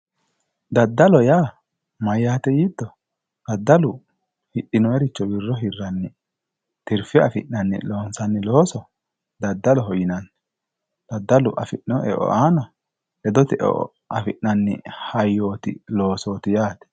daddalo yaa mayaate yiito daddalu hixinoyiricho qolle hirranni tirfe afi'nanni loonsanni looso daddaloho yinanni daddalu afinoy e"o aana ledote e"o afi'nanni hayyoti loosooti yaate